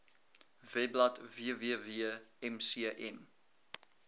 webblad www mcm